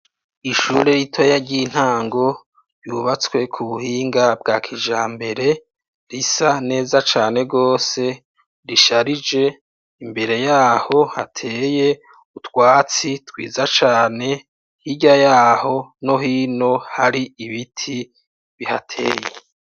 Ishure ritoya ry'intango yubatswe ku buhinga bwa kijambere risa neza cane gose risharije imbere yaho hateye utwatsi twiza cane hirya yaho no hino hari ibiti bihateye